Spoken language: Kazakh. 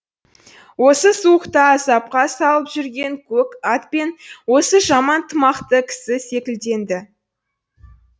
осы суықта азапқа салып жүрген көк ат пен осы жаман тымақты кісі секілденді